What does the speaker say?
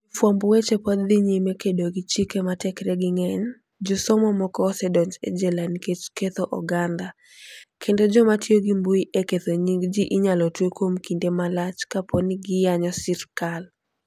Jofwamb weche pod dhi nyime kedo gi chike ma tekregi ng'eny; josomo moko osedonj e jela nikech "ketho" oganda, kendo joma tiyo gi mbui e ketho nying ji inyalo twe kuom kinde malach kapo ni giyanyo sirkal.